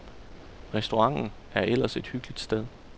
Restauranten er ellers et hyggeligt sted.